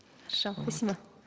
хорошо спасибо